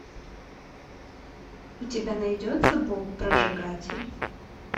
у тебя найдется боб прожигатель